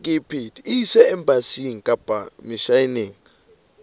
e ise embasing kapa misheneng